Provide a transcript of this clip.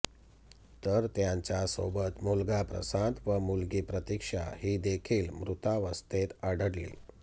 तर त्यांच्या सोबत मुलगा प्रशांत व मुलगी प्रतीक्षा ही देखील मृतावस्थेत आढळली